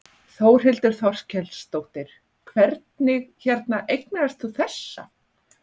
Þórhildur Þorkelsdóttir: Hvernig hérna eignaðist þú þessa?